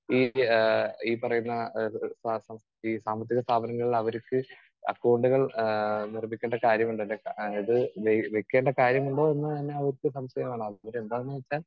Speaker 2 ഈ ആഹ് ഈ പറയുന്ന ഈ മാസം ഈ സാമ്പത്തിക സ്ഥാപനങ്ങളിൽ അവർക്ക് അക്കൗണ്ടുകൾ ആഹ് നിർമ്മിക്കേണ്ട കാര്യമുണ്ട് ആഹ് അതായത് നിർമ്മിക്കേണ്ട കാര്യമുണ്ടോ എന്ന് തന്നെ സംശയമാണ്. എന്താന്ന് വെച്ചാൽ